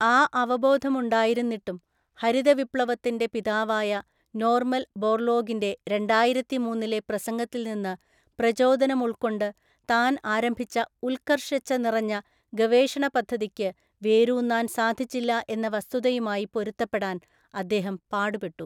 ആ അവബോധം ഉണ്ടായിരുന്നിട്ടും, ഹരിതവിപ്ലവത്തിന്റെ പിതാവായ നോർമൻ ബോർലോഗിന്റെ രണ്ടായിരത്തിമൂന്നിലെ പ്രസംഗത്തിൽ നിന്ന് പ്രചോദനം ഉൾക്കൊണ്ട് താൻ ആരംഭിച്ച ഉല്‍ക്കര്‍ഷച്ഛ നിറഞ്ഞ ഗവേഷണ പദ്ധതിക്ക് വേരൂന്നാൻ സാധിച്ചില്ല എന്ന വസ്തുതയുമായി പൊരുത്തപ്പെടാൻ അദ്ദേഹം പാടുപെട്ടു.